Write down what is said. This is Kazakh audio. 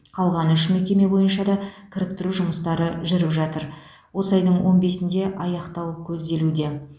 қалған үш мекеме бойынша да кіріктіру жұмыстары жүріп жатыр осы айдың он бесінде аяқтау көзделуде